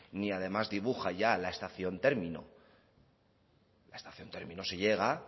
ni además dibuja la estación término a la estación término se llega